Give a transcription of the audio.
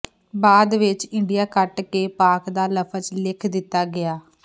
ਬਾਅਦ ਵਿੱਚ ਇੰਡੀਆ ਕੱਟ ਕੇ ਪਾਕ ਦਾ ਲਫਜ ਲਿਖ ਦਿੱਤਾ ਗਿਆ